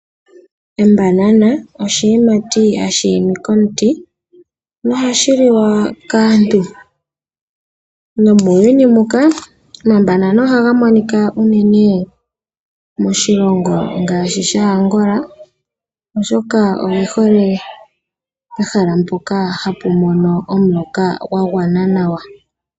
Embanana oshiyimati hashi imi komuti na ohashi liwa kaantu, nomuuyuni muka omambanana ohaga monika uunene moshilongo ngaashi shAngola, oshoka oyihole pehala mpoka hapu mono omuloka gwagwana nawa.